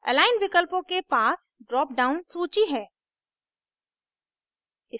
align विकल्पों के पास dropdown सूची है